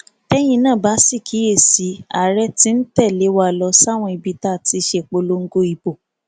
tẹyin náà bá sì kíyè sí i àárẹ tí ń tẹlé wa lọ sáwọn ibi tá a ti ṣèpolongo ìbò